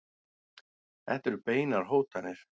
Þetta eru beinar hótanir.